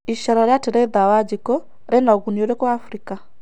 Ĩcera rĩa Teresa Wanjiku rĩna ũgũnĩ ũrĩku Afrika?